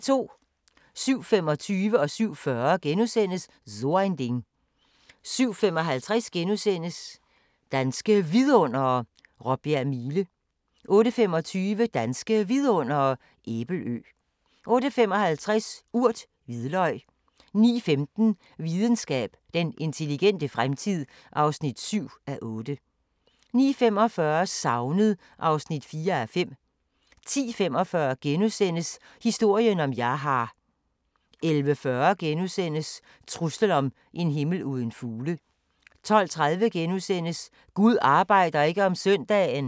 07:25: So ein Ding * 07:40: So ein Ding * 07:55: Danske Vidundere: Råbjerg Mile * 08:25: Danske Vidundere: Æbelø 08:55: Urt: Hvidløg 09:15: Videnskab: Den intelligente fremtid (7:8) 09:45: Savnet (4:5) 10:45: Historien om Jaha * 11:40: Truslen om en himmel uden fugle * 12:30: Gud arbejder ikke om søndagen! *